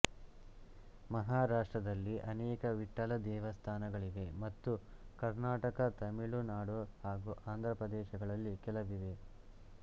ಮಹಾರಾಷ್ಟ್ರದಲ್ಲಿ ಅನೇಕ ವಿಠ್ಠಲ ದೇವಸ್ಥಾನಗಳಿವೆ ಮತ್ತು ಕರ್ನಾಟಕ ತಮಿಳು ನಾಡು ಹಾಗೂ ಆಂಧ್ರ ಪ್ರದೇಶಗಳಲ್ಲಿ ಕೆಲವಿವೆ